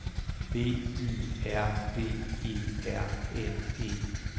B Y R D E R N E